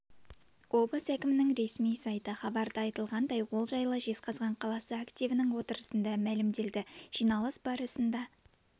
облыс әкімінің ресми сайты хабарда айтылғандай ол жайлы жезқазған қаласы активінің отырысында мәлімделді жиналыс барысында